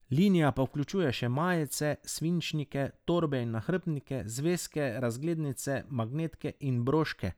Linija pa vključuje še majice, svinčnike, torbe in nahrbtnike, zvezke, razglednice, magnetke in broške.